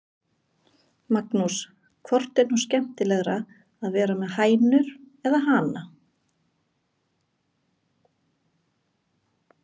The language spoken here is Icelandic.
Magnús: Hvort er nú skemmtilegra að vera með hænur eða hana?